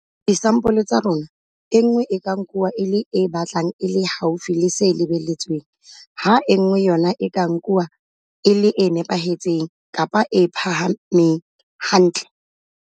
Disampoleng tsa rona, e nngwe e ka nkuwa e le e batlang e le haufi le se lebelletsweng, ha e nngwe yona e ka nkuwa e le e nepahetseng-phahameng hantle.